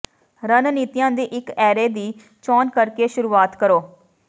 ਰਣਨੀਤੀਆਂ ਦੀ ਇੱਕ ਐਰੇ ਦੀ ਚੋਣ ਕਰਕੇ ਸ਼ੁਰੂਆਤ ਕਰੋ